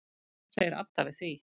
Hvað segir Adda við því?